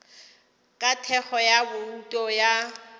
ka thekgo ya bouto ya